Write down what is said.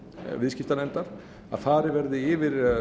viðskiptanefndar að farið verði yfir